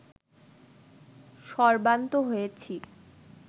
সর্বান্ত হয়েছি